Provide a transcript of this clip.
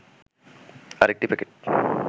আরেকটি প্যাকেট